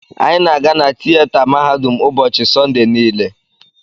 Anyị na-aga na tieta mahadum ụbọchị Sọnde niile.